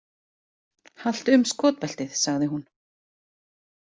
Haltu um skotbeltið, sagði hún.